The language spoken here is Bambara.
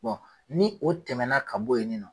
ni o tɛmɛna ka bɔ yen nin nɔ